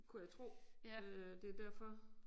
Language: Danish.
Kunne jeg tro øh det derfor